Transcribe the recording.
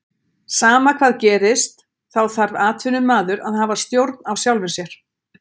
Sama hvað gerist þá þarf atvinnumaður að hafa stjórn á sjálfum sér.